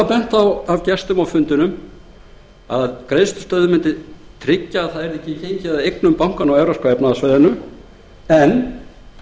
gestir á fundinum bentu á að greiðslustöðvun mundi tryggja að ekki yrði gengið að eignum bankanna á evrópska efnahagssvæðinu en